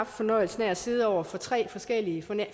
fornøjelsen af at sidde over for tre forskellige